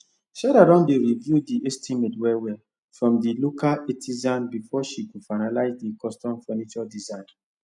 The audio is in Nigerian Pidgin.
sarah don dey review the estimate well well from the local artisans before she go finalize the custom furniture design